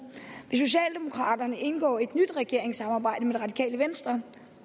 vil socialdemokraterne indgå et nyt regeringssamarbejde med det radikale venstre